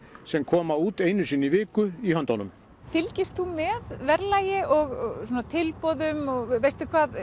sem koma út einu sinni í viku í höndunum fylgist þú með verðlagi og tilboðum veistu hvað